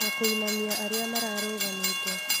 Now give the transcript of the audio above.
Na kũinamia arĩa mararugamĩte